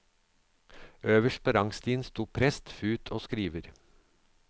Øverst på rangstigen stod prest, fut og skriver.